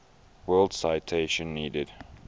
world citation needed